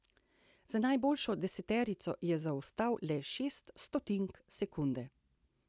Za najboljšo deseterico je zaostal le šest stotink sekunde.